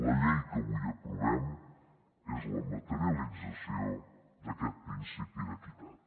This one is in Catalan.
la llei que avui aprovem és la materialització d’aquest principi d’equitat